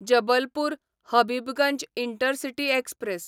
Jabalpur Habibganj intercity express